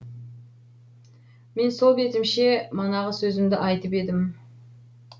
мен сол бетімше манағы сөзімді айтып едім